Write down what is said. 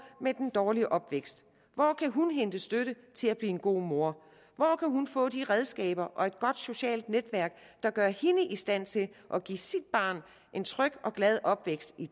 med den dårlige opvækst hvor kan hun hente støtte til at blive en god mor hvor kan hun få de redskaber og et godt socialt netværk der gør hende i stand til at give sit barn en tryg og glad opvækst i